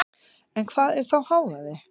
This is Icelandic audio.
En hvað er þá hávaði?